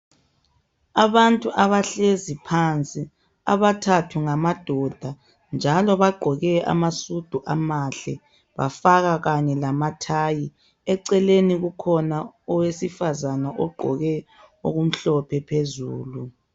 Abantu abahlezi phansi abathathu ngamadoda njalo bagqoke amasudu amahle . Bafaka kanye lamathayi. Eceleni kukhona owesifazane ogqoke okumhlophe phezulu.